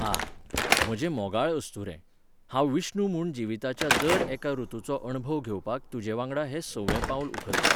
आह! म्हजे मोगाळ अस्तुरे, हांव विष्णू म्हूण जिविताच्या दर एका रुतूचो अणभव घेवपाक तुजे वांगडा हें सवें पावल उखलतां.